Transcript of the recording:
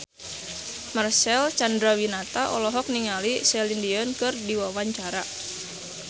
Marcel Chandrawinata olohok ningali Celine Dion keur diwawancara